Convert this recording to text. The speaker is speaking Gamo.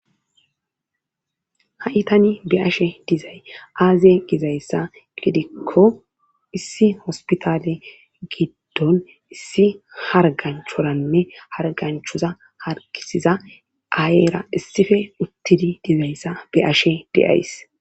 ha7itani be ashe dizay aaze gizayssa gidikko issi hospitale giddon issi harganchoranne harganchoza hargisiza aayeyra issife uttidi dizayssa be ashe deays